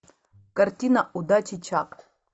картина удачи чак